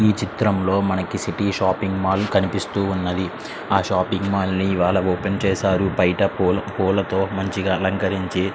ఇక్కడ చిత్రం లో మనకి సిటీ షాపింగ్ మాల్ ఉంది. అది ఇవాళ ఓపెన్ చేసారు. బైట మంచిగా పూలతో అలంకరించి --